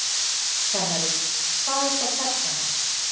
Kennari: Hvað er þá persóna?